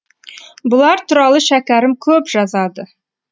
бұлар туралы шәкәрім көп жазады